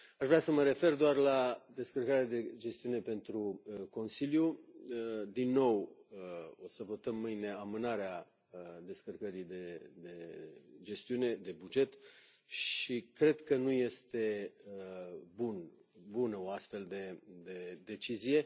Aș vrea să mă refer doar la descărcarea de gestiune pentru Consiliu, din nou o să votăm mâine amânarea descărcării de gestiune de buget și cred că nu este bună o astfel de decizie.